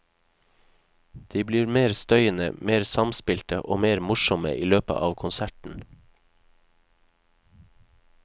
De blir mer støyende, mer samspilte og mer morsomme i løpet av konserten.